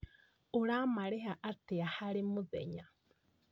Ũramarĩha atĩa harĩ mũthenya?